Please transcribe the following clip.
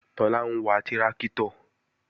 Tọ́lá ń wa tráktọ̀